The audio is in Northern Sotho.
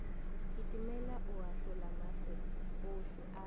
kitimela go ahlolamahlo ohle a